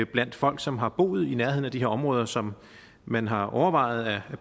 blandt folk som har boet i nærheden af de her områder som man har overvejet at